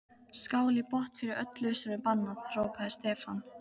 Skál í botn fyrir öllu sem er bannað! hrópaði Stefán.